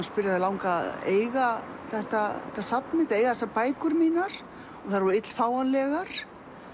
spyrja það langaði að eiga þetta safn mitt eiga þessar bækur mínar þær voru ill fáanlegar